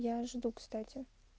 я жду кстати